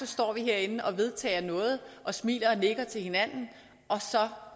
står vi herinde og vedtager noget og smiler og nikker til hinanden og så